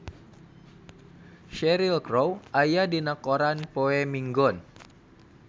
Cheryl Crow aya dina koran poe Minggon